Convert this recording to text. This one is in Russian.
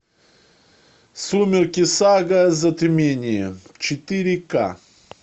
сумерки сага затмение четыре ка